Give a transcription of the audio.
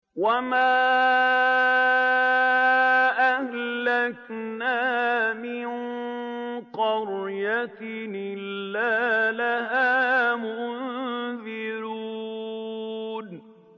وَمَا أَهْلَكْنَا مِن قَرْيَةٍ إِلَّا لَهَا مُنذِرُونَ